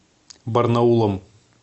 барнаулом